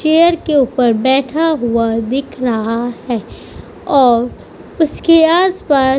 chair के ऊपर बैठा हुआ दिख रहा है और उसके आसपास --